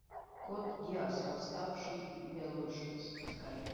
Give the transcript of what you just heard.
код гиас восставший лелуш запускай